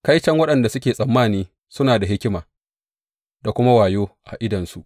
Kaiton waɗanda suke tsammani suna da hikima da kuma wayo a idonsu.